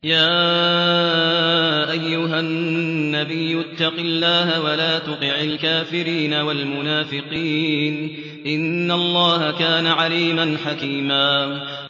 يَا أَيُّهَا النَّبِيُّ اتَّقِ اللَّهَ وَلَا تُطِعِ الْكَافِرِينَ وَالْمُنَافِقِينَ ۗ إِنَّ اللَّهَ كَانَ عَلِيمًا حَكِيمًا